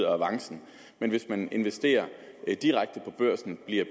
avancen men hvis man investerer direkte på børsen bliver